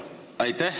Helmut Hallemaa.